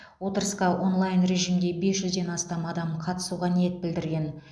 отырысқа онлайн режимде бес жүзден астам адам қатысуға ниет білдірген